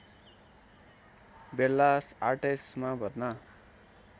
Bellas आर्टेसमा भर्ना